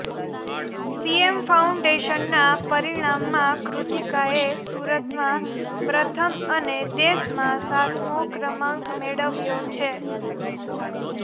CS ફાઉન્ડેશનના પરિણામમાં કૃતિકાએ સુરતમાં પ્રથમ અને દેશમાં સાતમો ક્રમાંક મેળવ્યો છે